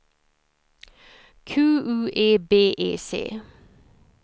Q U E B E C